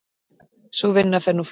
Sú vinna fer nú fram.